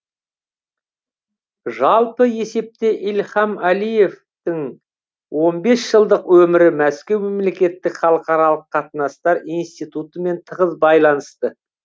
жалпы есепте ильхам әлиевтің он бес жылдық өмірі мәскеу мемлекеттік халықаралық қатынастар институтымен тығыз байланысты